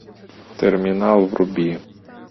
терминал вруби